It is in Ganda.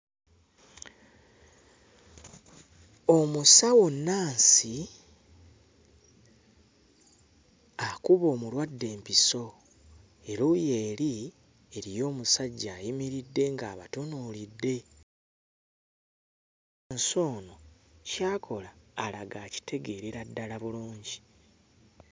Omusawo nnaasi akuba omulwadde empiso, eruuyi eri eriyo omusajja ayimiridde ng'abatunuulidde, nsi ono ky'akola alaga akitegeerera ddala bulungi.